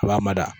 A b'a mada